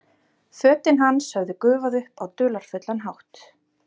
Fötin hans höfðu gufað upp á dularfullan hátt.